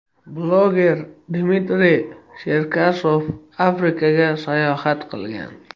Bloger Dmitriy Cherkasov Afrikaga sayohat qilgan.